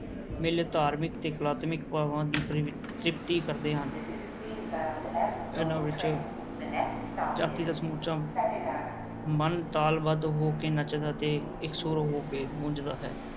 ਮੇਲੇ ਧਾਰਮਿਕ ਤੇ ਕਲਾਤਮਿਕ ਭਾਵਾਂ ਦੀ ਤ੍ਰਿਪਤੀ ਕਰਦੇ ਹਨ ਇਹਨਾਂ ਵਿੱਚ ਜਾਤੀ ਦਾ ਸਮੁੱਚਾ ਮਨ ਤਾਲ-ਬੱਧ ਹੋ ਕੇ ਨੱਚਦਾ ਤੇ ਇਕਸੁਰ ਹੋ ਕੇ ਗੂੰਜਦਾ ਹੈ।